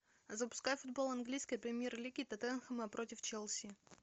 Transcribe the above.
запускай футбол английской премьер лиги тоттенхэма против челси